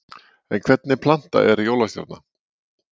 En hvernig planta er jólastjarna?